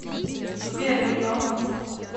сбер енот